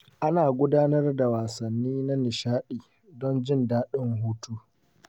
Ana gudanar da wasanni na nishaɗi don jin daɗin hutu.